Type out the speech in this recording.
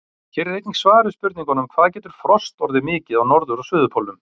Hér er einnig svar við spurningunum: Hvað getur frost orðið mikið á norður- og suðurpólnum?